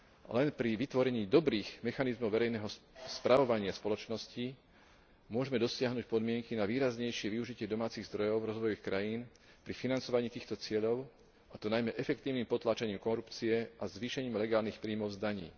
Len pri vytvorení dobrých mechanizmov verejného spravovania spoločnosti môžeme dosiahnuť podmienky na výraznejšie využitie domácich zdrojov rozvojových krajín pri financovaní týchto cieľov, a to najmä efektívnym potláčaním korupcie a zvýšením legálnych príjmov z daní.